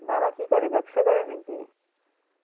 বাবা কি করে ব্যবসা করে নাকি?